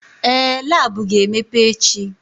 Ee! Lab ga-emepe echi.